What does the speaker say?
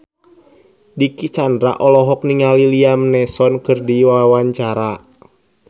Dicky Chandra olohok ningali Liam Neeson keur diwawancara